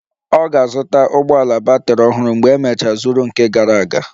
Ọ ga-azụta batrị ụgbọ ala ọhụrụ mgbe emecha zuru nke gara aga